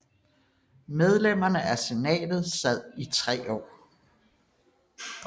Medlemmerne af senatet sad i tre år